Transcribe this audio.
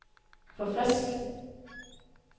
forfrisk